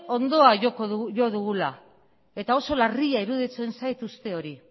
hondoa jo dugula eta oso larria iruditzen zait uste hori